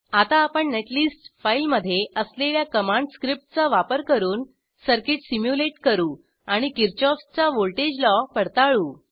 आता आपण नेटलिस्ट फाईलमध्ये असलेल्या कमांड स्क्रिप्टचा वापर करून सर्किट सिम्युलेट करू आणि किरशॉफ चा व्हॉल्टेज लॉ पडताळू